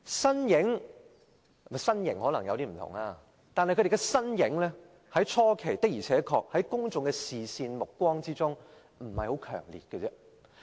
兩人的身型可能有點不同，但他們的身影在回歸初期，在公眾目光中並不強烈。